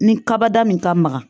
Ni kabada min ka maga